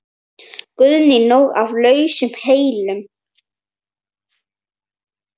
Guðný: Nóg af lausum hellum?